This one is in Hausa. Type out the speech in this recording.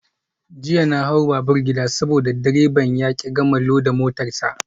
Jiya na hau babur gida saboda direban ya ki gama loda motar sa.